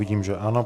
Vidím, že ano.